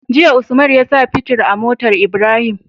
Jiya usman yasa fitir a motar Ibrahim